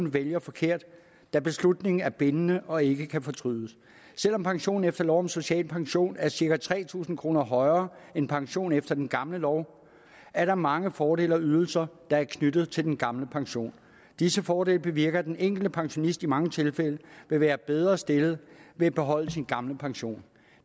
vælge forkert da beslutningen er bindende og ikke kan fortrydes selv om pensionen efter lov om social pension er cirka tre tusind kroner højere end pensionen efter den gamle lov er der mange fordele og ydelser der er knyttet til den gamle pension disse fordele bevirker at den enkelte pensionist i mange tilfælde vil være bedre stillet ved at beholde sin gamle pension